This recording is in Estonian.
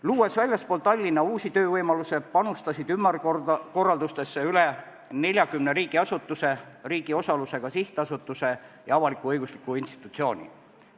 Luues väljaspool Tallinna uusi töövõimalusi, panustas ümberkorraldustesse rohkem kui 40 riigiasutust, riigi osalusega sihtasutust ja avalik-õiguslikku institutsiooni.